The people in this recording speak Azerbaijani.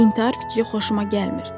İntihar fikri xoşuma gəlmir.